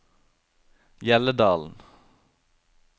Hjelledalen